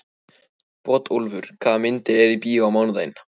Bótólfur, hvaða myndir eru í bíó á mánudaginn?